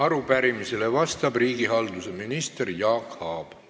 Arupärimisele vastab riigihalduse minister Jaak Aab.